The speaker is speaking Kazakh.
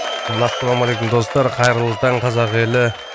ассалаумалейкум достар қайырлы таң қазақ елі